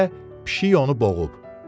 Gecə pişik onu boğub.